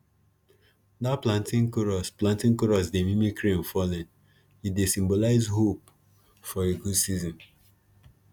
dat planting chorus planting chorus dey mimic rain falling e dey symbolize hope for a good season